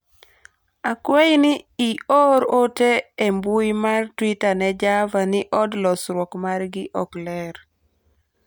akwayi ni ior ote e mbui mar twita ne Java ni od losruok margi ok ler